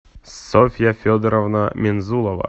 софья федоровна мензулова